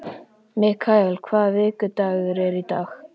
Mikael, hvaða vikudagur er í dag?